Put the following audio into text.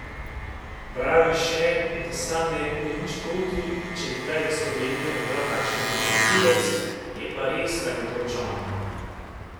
Pravi še, da sam ne bi imel nič proti, če bi kdaj za Slovenijo igral kakšen odličen tujec, je pa res, da ne odloča on.